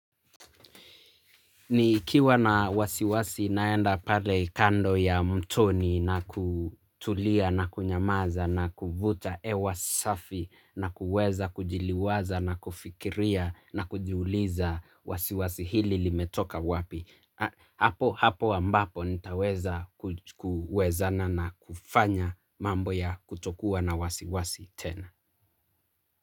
Nikiwa na wasiwasi naenda pale kando ya mtoni na kutulia na kunyamaza na kuvuta ewa safi na kuweza kujiliwaza na kufikiria na kujuliza wasiwasi hili limetoka wapi. Hapo hapo ambapo nitaweza kuwezana na kufanya mambo ya kutokuwa na wasiwasi tena.